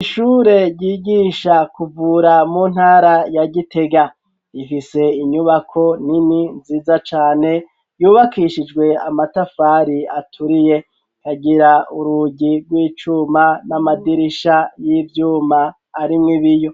Ishure ryigisha kuvura mu ntara ya Gitega, rifise inyubako nini nziza cane yubakishijwe amatafari aturiye, ikagira urugi rw'icuma n'amadirisha y'ivyuma arimw'ibiyo.